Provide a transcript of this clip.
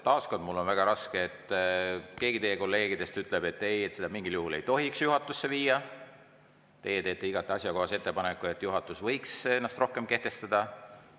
Taas kord: mul on väga raske, sest keegi teie kolleegidest ütleb, et ei, mingil juhul ei tohiks seda juhatusse viia, aga teie teete igati asjakohase ettepaneku, et juhatus võiks ennast rohkem kehtestada.